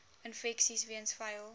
infeksies weens vuil